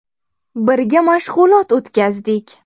Birga mashg‘ulot o‘tkazdik.